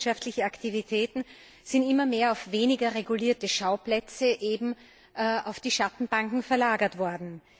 Finanzwirtschaftliche Aktivitäten sind immer mehr auf weniger regulierte Schauplätze eben auf die Schattenbanken verlagert worden.